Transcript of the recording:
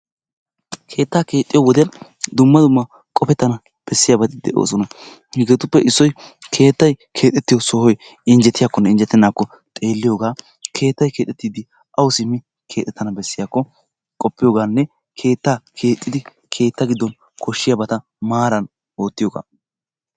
Keetta keexxiyo wode dumma dumma qopettana bessoyaabati de'oosona. Hegetuppe issoy keettay keexxetiyo sohoy injjetiyakkonne injjetenakko xeeliyooga. Keettay keexxettidi awu simmi keexxetana beessiyakko qopiyooganne keettaa keexxidi keetta giddon koshshiyabata maaran wottiyooga.